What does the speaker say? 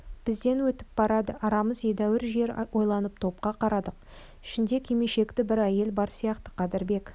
бізден өтіп барады арамыз едәуір жер ойланып топқа қарадық ішінде кимешекті бір әйел бар сияқты қадырбек